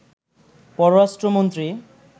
পররাষ্ট্র মন্ত্রী